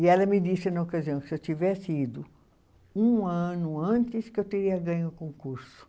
E ela me disse, na ocasião, se eu tivesse ido um ano antes, que eu teria ganho o concurso.